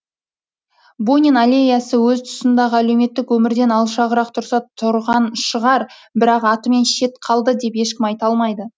бунин аллеясы өз тұсындағы әлеуметтік өмірден алшағырақ тұрса тұрған шығар бірақ атымен шет қалды деп ешкім айта алмайды